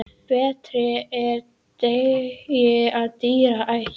Betri er dyggð en dýr ætt.